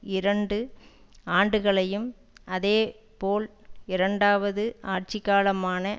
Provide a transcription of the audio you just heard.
இரண்டு ஆண்டுகளையும் அதே போல் இரண்டாவது ஆட்சிக்காலமான